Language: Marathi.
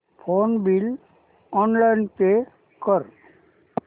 फोन बिल ऑनलाइन पे कर